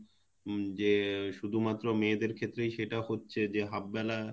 উম যে শুধুমাত্র মেয়েদের ক্ষেত্রেই সেটা হচ্ছে যে half বেলা